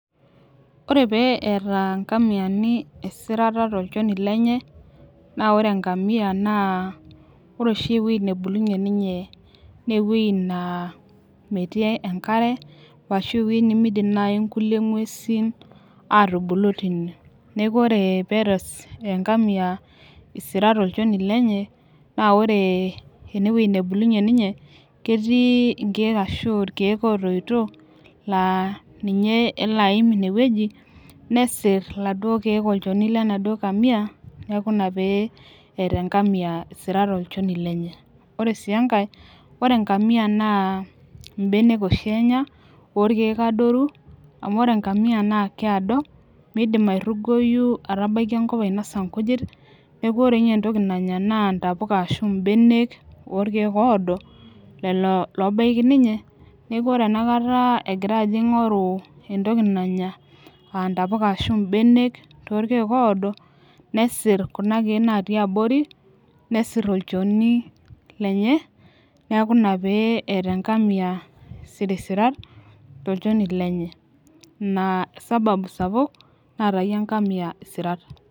Ore pee eeta nkamiani esirata tolchoni lenye, naa ore enkamia, naa ore oshi ewueji nebulunye ninye naa ewueji naa metii enkare ashu ewueji nemeidim naaji nkulie nguesin aatubulu tenie. neeku ore pee eyata enkamia isirat tolchoni lenye, naa ore ene wueji nebulunye ninye ketii inkeek ashu irkeek ootoito laa ninye elo aim ine wueji nesir iladuok keek olchoni lenaduo kamia, neeku Ina pee eeta enkamia isirat tolchoni lenye. ore sii enkae ore enkamia naa benek Oshi Enya oorkeek adoru. amu ore enkamia naa kiado midim airugoyu aatabaiki enkop ainosa nkujit. neeku ore ninye entoki nanys naa ntapuka ashu ibenek oorkeek oodo. lelo loobaiki ninye. neeku ore tenakata egira ajo aing'oru entoki nanya aa ntapuka ashu benek torkeek oodo. nesir Kuna keek lotii abori, nesir olchoni lenye. neeku Ina pee eeta enkamia isirisirat tolchoni lenye. ina sababu sapuk naatayie enkamia isirat.